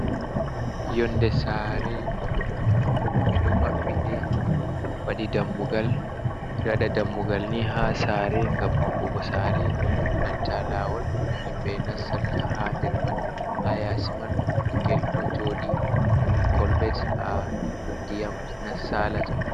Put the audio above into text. Yonnde saare, ɓeɗon mabɓinde, waɗi dammugal, waɗa dammugal ni ha saare ngam maɓɓugo saare, enenta lawol yimɓe nastirta ha nder man, ha yasi man bingel ɗo jooɗi, ɗon kolbet ha diyam salata.